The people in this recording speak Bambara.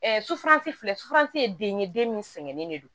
sufurasi filɛ sutan ye den ye den min sɛgɛnnen de don